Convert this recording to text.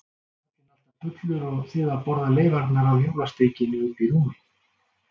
Karlinn alltaf fullur og þið að borða leifarnar af jólasteikinni uppi í rúmi?